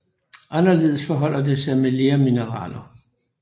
Anderledes forholder det sig med lermineraler